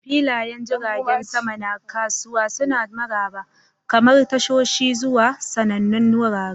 Filayen jiragen sama na kasuwa suna maraba, kamar tashoshi zuwa sanannun wurare.